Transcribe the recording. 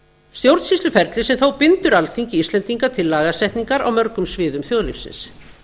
stjórnsýsluferli sem þó bindur alþingi íslendinga til lagasetningar á mörgum sviðum þjóðlífsins